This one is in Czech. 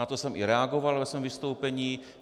Na to jsem i reagoval ve svém vystoupení.